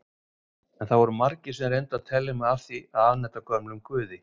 En það voru margir sem reyndu að telja mig af því að afneita gömlum guði.